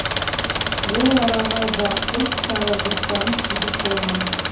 ол араға да іс шара жоспарын түзіп қойғанбыз